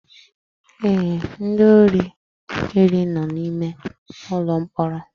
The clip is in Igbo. Ee, ndị ori iri no na ime ụlọ mkpọrọ